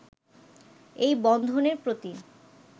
এই বন্ধনের প্রতি